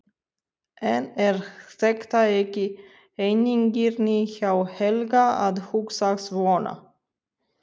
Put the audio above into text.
En er þetta ekki eigingirni hjá Helga að hugsa svona?